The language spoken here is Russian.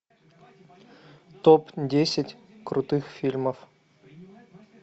топ десять крутых фильмов